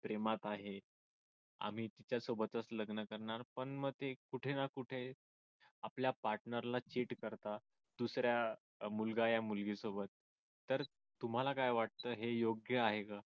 प्रेमात आहे आम्ही तिच्या सोबतच लग्न करणार पण मग ते कुठे ना कुठे आपल्या partner ला cheat करता दुसऱ्या मुलगा या मुलगी सोबत तर तुम्हाला काय वाटत हे योग्य आहे का